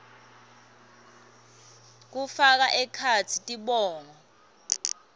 kufaka ekhatsi tibongo